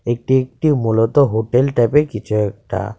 এটি একটি মূলত হোটেল টাইপের কিছু একটা.